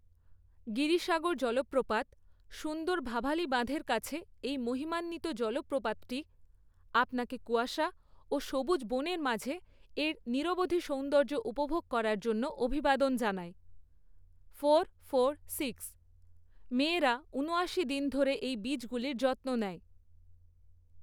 গিরিসাগর জলপ্রপাত, সুন্দর ভাভালি বাঁধের কাছে এই মহিমান্বিত জলপ্রপাতটি আপনাকে কুয়াশা ও সবুজ বনের মাঝে এর নিরবধি সৌন্দর্য উপভোগ করার জন্য অভিবাদন জানায়।